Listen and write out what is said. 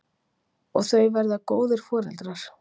Og þau verða góðir foreldrar.